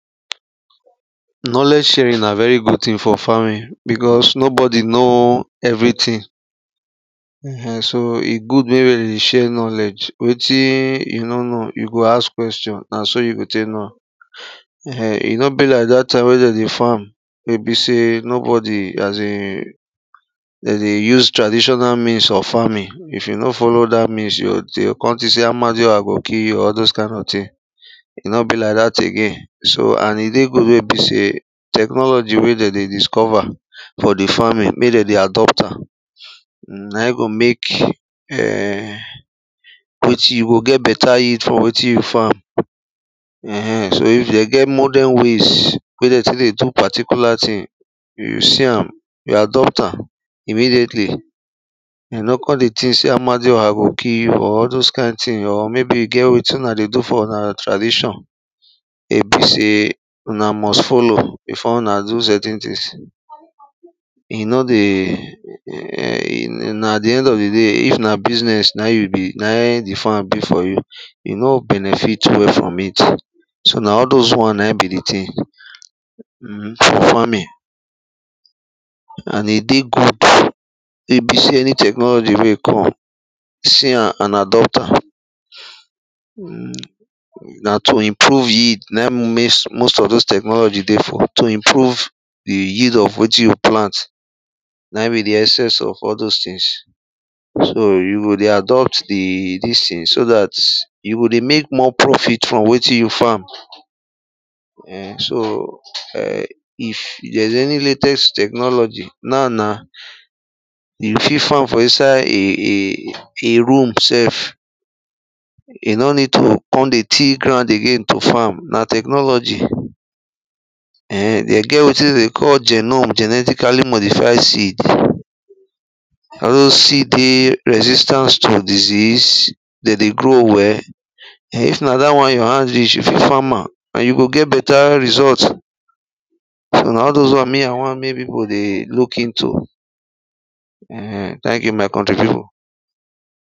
Knowledge sharing na very good thing for farming bicos nobody know everything. um so e good mey de dey share knowledge weti you no know you go ask question na so you go tek know am. um e no be like dat time wey de dey farm wey be sey nobody asin dey dey use traditional means of farming if you no follow dat means, you dey kon think sey amadiaoha go kill you or all those kind of things. e no be like dat again. so and e dey good wen e be sey technology wen de dey discover for di farming mey de dey adopt am na in go mek um you go get beta yield for wetin you farm. um so if den get modern ways we dey take dey do particular thing, you see am, you adopt am immediately you no kon dey think sey amadioha go kil you or all those kind thing or maybe e get wetin una dey do for una tradition wey be sey una must follow before una do certain things e no dey na di end of di day if na business na in na in di farm be for you, you no benefit well from it so na all those wan na in be di thing farming, and e dey good wey e be sey any technology wey e come, see am and adopt am na to improve yield na in most of those technology dey for. to improve the yield of wetin you plant na in be di excess of all those things. so you go de adopt di dis thing so dat you go dey mek more profit from wetin you farm um so um if there is any latest technology, now na you fit farm for inside a room self e nor ned to kon dey till ground dey farm na technology um de get wetin de dey call genom( genetically modified seed) all those seed dey resistance to diseases, de dey grow well[um]if na dat won your hand reach, you fit farm am or you go get beta result so na all those wan me i wan mek pipu dey look into thank you my country pipu.